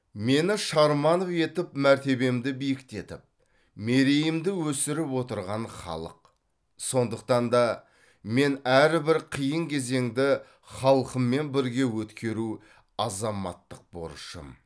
мені шарманов етіп мәртебемді биіктетіп мерейімді өсіріп отырған халық сондықтан да мен әрбір қиын кезеңді халқыммен бірге өткеру азаматтық борышым